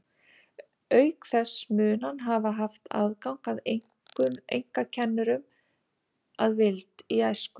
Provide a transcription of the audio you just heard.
Auk þess mun hann hafa haft aðgang að einkakennurum að vild í æsku.